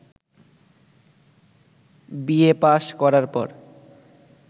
BA pass করার পর